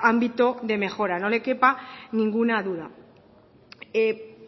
ámbito de mejora no le quepa ninguna duda